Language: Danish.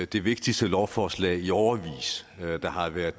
det vigtigste lovforslag i årevis der har været